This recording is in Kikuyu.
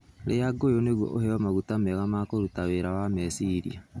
Iria ngũyũ nĩguo ũheo maguta mega ma kũruta wĩra wa meciria.